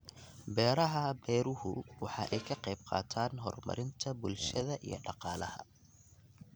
Beeraha beeruhu waxa ay ka qayb qaataan horumarinta bulshada iyo dhaqaalaha.